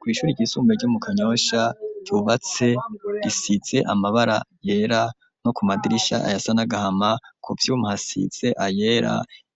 Kw'ishuri ryisumbe ryo mu kanyosha ryubatse risize amabara yera no ku madirisha aya sanagahama ku vyumphasize ayera